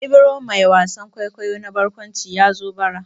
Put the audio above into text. Ibro mai wasan kwaikwayo na barkwanci ya zo bara.